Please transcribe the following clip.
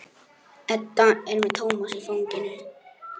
Já, kannski voru allir glaðir nema ég.